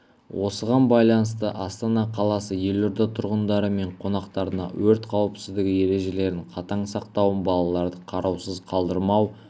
осыған байланысты астана қаласы елорда тұрғындары мен қонақтарына өрт қауіпсіздігі ережелерін қатаң сақтауын балаларды қараусыз қалдырмау